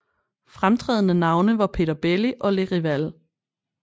Fremtrædende navne var Peter Belli og Les Rivals